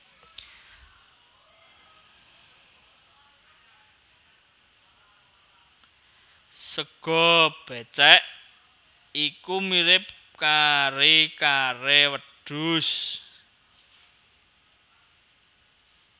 Sega bécèk iku mirip kari kare wedhus